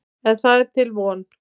En það er til von.